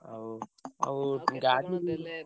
ଆଉ ଗାଡି ନେଲେ